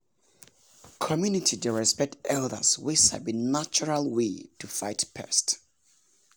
community dey respect elders wey sabi natural way to fight pest.